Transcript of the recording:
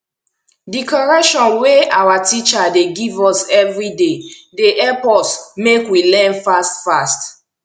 di correction wey awa teacher dey give us everyday dey help us make we learn fast fast